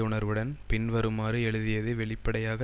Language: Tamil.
உணர்வுடன் பின்வருமாறு எழுதியது வெளிப்படையாக